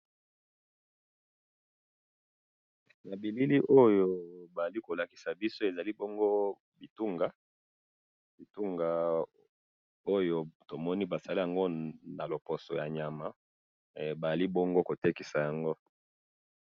na bilili oyo bazali kolakisa biso, ezali bongo bitunga, bitunga oyo tomoni basali yango na loposo ya nyama, bazali bongo kotekisa yango